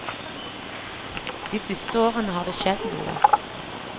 De siste årene har det skjedd noe.